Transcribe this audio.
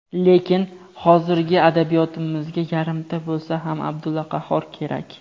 lekin hozirgi adabiyotimizga "yarimta" bo‘lsa ham Abdulla Qahhor kerak.